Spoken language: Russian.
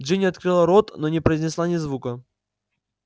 джинни открыла рот но не произнесла ни звука